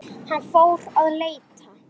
Með lærin í skónum.